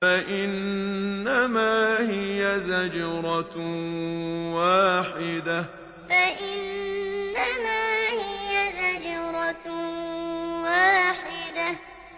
فَإِنَّمَا هِيَ زَجْرَةٌ وَاحِدَةٌ فَإِنَّمَا هِيَ زَجْرَةٌ وَاحِدَةٌ